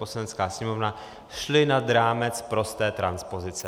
Poslanecká sněmovna šly nad rámec prosté transpozice.